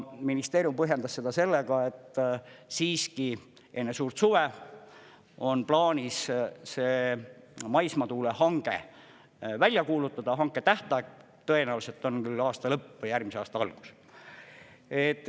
Ministeerium põhjendas seda sellega, et siiski enne suurt suve on plaanis see maismaatuule hange välja kuulutada, hanke tähtaeg tõenäoliselt on küll aasta lõpp või järgmise aasta alguses.